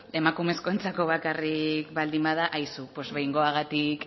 emakumezkoentzako bakarrik baldin bada aizu behingoagatik